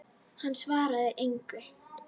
Hann svaraði engu.